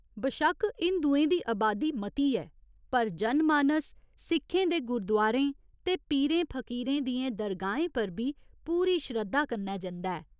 बशक्क हिंदुएं दी अबादी मती ऐ पर जनमानस सिखें दे गुरुद्वारें ते पीरें फकीरें दियें दरगाहें पर बी पूरी श्रद्धा कन्नै जंदा ऐ।